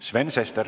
Sven Sester.